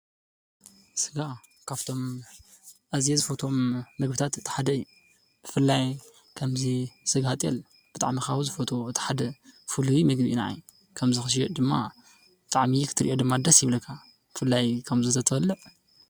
ስጋ ካብቶም ኣዝየ ዝፈትዎም ምግባታት እቲ ሓደ እዩ፡፡ ብፍላይ ከም እዚ ስጋ ጥየል ብጣዕሚ ካብ ዝፈትዎ እቲ ሓደ ፉሉይ ምግቢ እዩ ናዓይ፡፡ ከምዚ ክሽየጥ ድማ ብጣዕሚ ክትሪኦ ድማ ደስ ይብለካ፡፡ ብፍላይ ከምዚ ተተበልዕ?